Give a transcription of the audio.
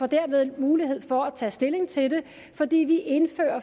derved mulighed for at tage stilling til det fordi vi